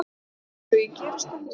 Eins og ég geri stundum.